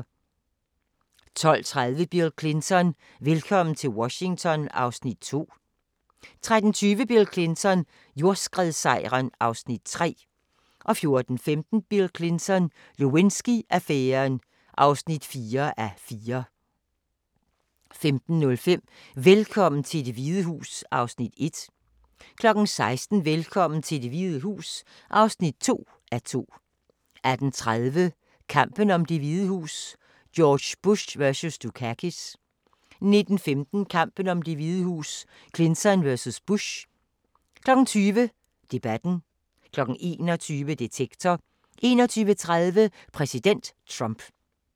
12:30: Bill Clinton: Velkommen til Washington (2:4) 13:20: Bill Clinton: Jordskredssejren (3:4) 14:15: Bill Clinton: Lewinsky-affæren (4:4) 15:05: Velkommen til Det Hvide Hus (1:2) 16:00: Velkommen til Det Hvide Hus (2:2) 18:30: Kampen om Det Hvide Hus: George Bush vs. Dukakis 19:15: Kampen om Det Hvide Hus: Clinton vs. Bush 20:00: Debatten 21:00: Detektor 21:30: Præsident Trump